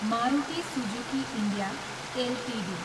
Maruti Suzuki India Ltd